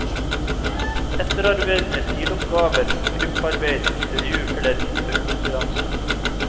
Etterarbeid med stiloppgaver, gruppearbeid, intervju eller tippekonkurranse.